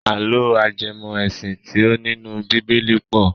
Àlọ́ ajẹmọ́-ẹ̀sìn tí ó nínú bíbélì pọ̀.